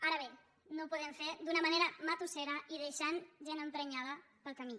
ara bé no ho podem fer d’una manera matussera i deixant gent emprenyada pel camí